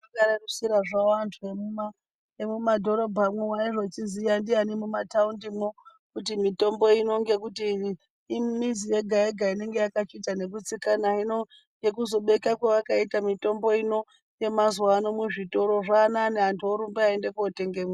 Vakarerusira havo antu emuma, emumadhorobhamwo. Aizochiziya ndiyani mumataundimwo kuti mitombo ino ngekuti imizi yega-yega inenga yakachiita ngekutsikana. Hino ngekuzobeka kwaakaita mutombo ino yemazuva ano muzvitoro zvaanani, antu orumba eiende kotengemwo.